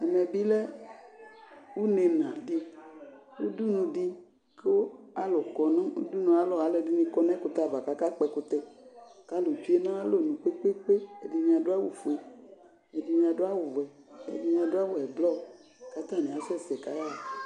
Ɛmɛbi lɛ ʊnɛnadi, kʊ alʊ kɔ nʊdʊnʊ ayalɔ Alʊɛdini kɔ nɛkʊtɛava, akakpɔ ɛkʊtɛ Kalʊ tsue nayalɔnʊ kpekpeekpe Ɛdini adʊ awʊfue, ɛdini adu awʊvɛ, ɛdini adu awʊɛblɔr, katani asɛsɛ kayaya